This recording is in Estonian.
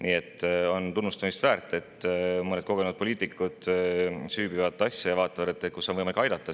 Nii et on tunnustamist väärt, et mõned kogenud poliitikud süüvivad asja ja vaatavad, kus on võimalik aidata.